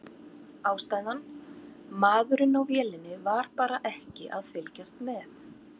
Ástæðan: Maðurinn á vélinni var bara ekki að fylgjast með.